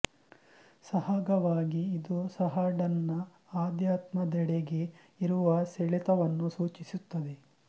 ಸಹಗವಾಗಿ ಇದು ಸಹ ಡನ್ ನ ಆಧ್ಯಾತ್ಮ ದೆಡೆಗೆ ಇರುವ ಸೆಳೆತವನ್ನು ಸೂಚಿಸುತ್ತದೆ